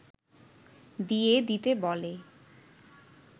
দিয়ে দিতে বলে